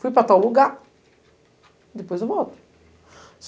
Fui para tal lugar, depois eu volto.